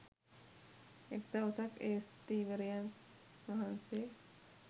එක් දවසක් ඒ ස්ථවිරයන් වහන්සේ